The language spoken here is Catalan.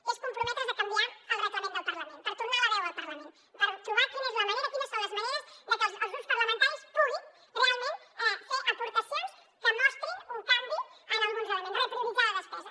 que és comprometre’s a canviar el reglament del parlament per tornar la veu al parlament per trobar quines són les maneres de que els grups parlamentaris puguin realment fer aportacions que mostrin un canvi en alguns elements reprioritzar la despesa